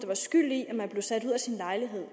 var skyld i at man blev sat ud af sin lejlighed